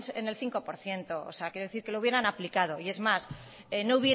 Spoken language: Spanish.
en el cinco por ciento o sea quiero decir que lo hubieran aplicado es más